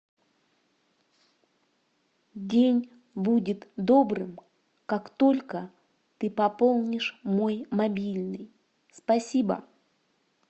день будет добрым как только ты пополнишь мой мобильный спасибо